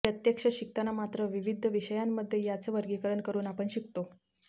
प्रत्यक्ष शिकताना मात्र विविध विषयांमध्ये यांचं वर्गीकरण करून आपण शिकतो